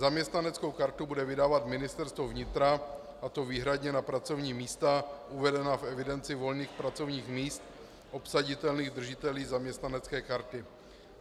Zaměstnaneckou kartu bude vydávat Ministerstvo vnitra, a to výhradně na pracovní místa uvedená v evidenci volných pracovních míst obsaditelných držiteli zaměstnanecké karty.